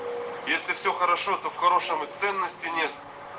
если все хорошо то в хорошем и ценности нет